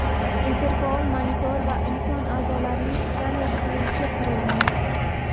interfaol monitor va inson a’zolarini skaner qiluvchi qurilma.